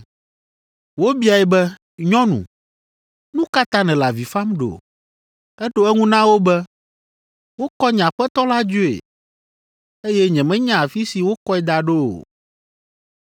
Wobiae be, “Nyɔnu, nu ka ta nèle avi fam ɖo?” Eɖo eŋu na wo be, “Wokɔ nye Aƒetɔ la dzoe, eye nyemenya afi si wokɔe da ɖo o.”